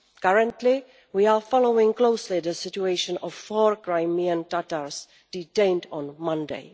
Currently, we are following closely the situation of four Crimean Tatars detained on Monday.